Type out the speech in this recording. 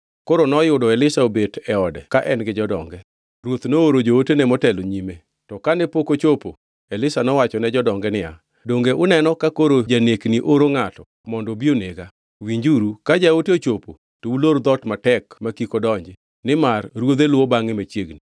Koro noyudo Elisha obet e ode ka en gi jodonge. Ruoth nooro jootene motelo e nyime, to kane pok ochopo, Elisha nowachone jodonge niya, “Donge uneno ka koro janekni oro ngʼato mondo obi onega? Winjuru, ka jaote ochopo, to ulor dhoot matek ma kik odonji, nimar ruodhe luwo bangʼe machiegni.”